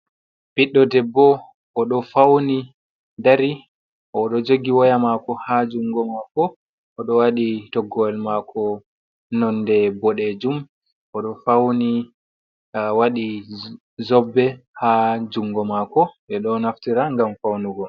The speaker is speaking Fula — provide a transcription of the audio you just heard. Bidɗo ɗebbo odo fauni dari o odo jogi waya mako ha jungo mako, o do wadi toggowal mako nonde bodejum oɗo wadi zobɓe ha jungomako be do naftira ngam faunugon.